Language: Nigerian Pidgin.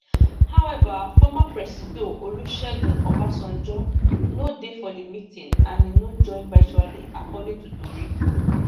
however former presido olusegun obasanjo no dey for di meeting and e no join virtually according to tori